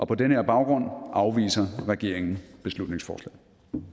på den her baggrund afviser regeringen beslutningsforslaget